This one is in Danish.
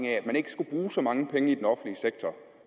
at man ikke skulle bruge så mange penge i den offentlige sektor